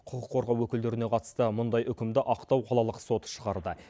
құқық қорғау өкілдеріне қатысты мұндай үкімді ақтау қалалық соты шығарды